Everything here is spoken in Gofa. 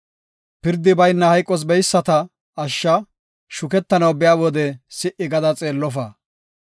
Pirdi bayna hayqos beyisata ashsha; shukettanaw biya wode si77i gada xeellofa.